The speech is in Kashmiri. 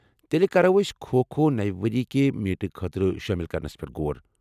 تیلہِ كرو أسۍ کھو کھو نٕوِ ؤریہ کہِ میٖٹہٕ خٲطرٕ شٲمِل كرنس پیٹھ غور ۔